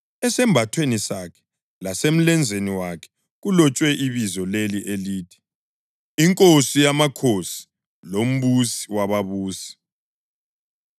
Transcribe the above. Esambathweni sakhe lasemlenzeni wakhe kulotshwe ibizo leli elithi: INkosi yamakhosi loMbusi wababusi.